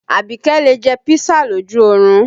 Abike lè jẹ́ pisa lójú orun